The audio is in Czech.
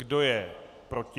Kdo je proti?